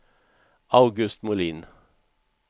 August Molin